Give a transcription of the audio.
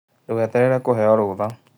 Ndũgeterere kũheyo rũtha.